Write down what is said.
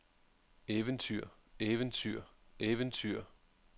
eventyr eventyr eventyr